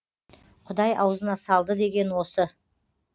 құдай аузына салды деген осы